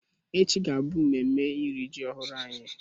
Echi ga-abụ memme iri ji ọhụrụ anyị